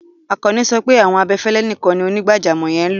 Akànní sọ pé awọn abẹ̀fẹ̀lẹ̀ níkàń ní onígbàjàmọ̀ yẹn n lọ.